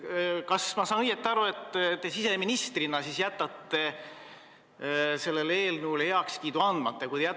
Kas ma saan õigesti aru, et te siseministrina jätate sellele eelnõule heakskiidu andmata?